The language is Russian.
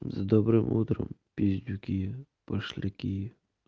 с добрым утром пиздюки пошляки